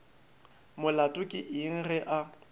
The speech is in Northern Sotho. molato ke eng ge a